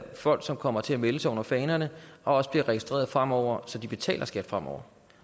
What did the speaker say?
folk som kommer til at melde sig under fanerne og også bliver registreret fremover så de betaler skat fremover